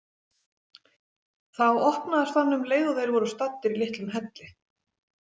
Þá opnaðist hann um leið og þeir voru staddir í litlum helli.